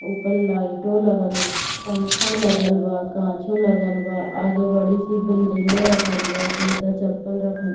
ऊपर लइटो लगल पंखा लगल बा काँचो लगल बा आगे बड़ी-सी बिल्डिंगो रखल बा जूता-चप्पल रखल --